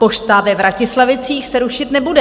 Pošta ve Vratislavicích se rušit nebude.